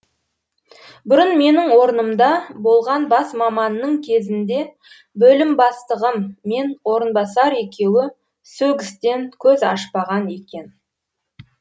бұрын менің орнымда болған бас маманның кезінде бөлім бастығым мен орынбасар екеуі сөгістен көз ашпаған екен